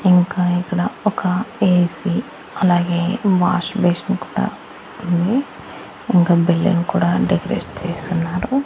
ఇంకా ఇక్కడ ఒక ఏ_సి అలాగే వాష్ బేసిన్ కూడా ఉంది ఇంకా బిల్డింగ్ కూడా డెకరేట్ చేసున్నారు.